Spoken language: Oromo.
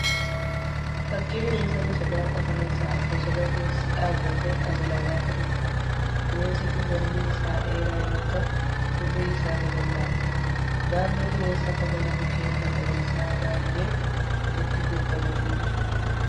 Fakkii bineensa bosonaa qofaa isaa bosona keessa dhaabbatee as ilaalaa jiruudha. Bineensi kun mormi isaa dheeraa yoo ta'u gurri isaa babal'aadha. Naannoo bineensa kanaa mukeen magariisaa baay'een walitti gobbatanii jiru.